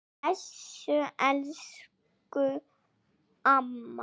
Bless elsku amma.